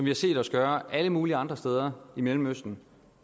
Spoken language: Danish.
har set os gøre alle mulige andre steder i mellemøsten